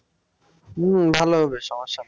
উম ভালো হবে সমস্যা নাই